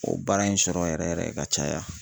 O baara in sɔrɔ yɛrɛ yɛrɛ ka caya.